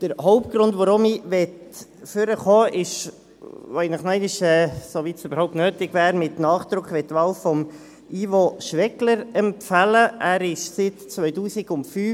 Der Hauptgrund dafür, dass ich nach vorne gekommen bin, ist, weil ich noch einmal mit Nachdruck die Wahl von Ivo Schwegler empfehlen will, soweit es überhaupt nötig wäre.